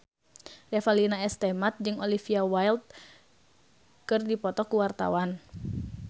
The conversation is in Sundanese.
Revalina S. Temat jeung Olivia Wilde keur dipoto ku wartawan